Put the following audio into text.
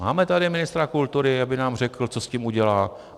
Máme tady ministra kultury, aby nám řekl, co s tím udělá?